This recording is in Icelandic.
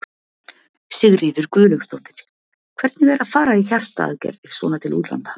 Sigríður Guðlaugsdóttir: Hvernig er að fara í hjartaaðgerðir svona til útlanda?